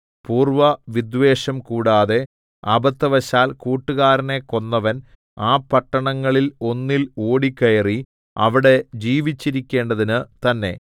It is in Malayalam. പൂർവ്വ വിദ്വേഷം കൂടാതെ അബദ്ധവശാൽ കൂട്ടുകാരനെ കൊന്നവൻ ആ പട്ടണങ്ങളിൽ ഒന്നിൽ ഓടിക്കയറി അവിടെ ജീവിച്ചിരിക്കേണ്ടതിന് തന്നെ